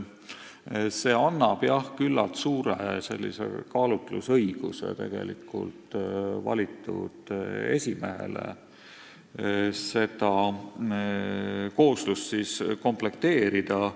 See annab valitud esimehele küllalt suure kaalutlusõiguse komisjoni koosseisu komplekteerimisel.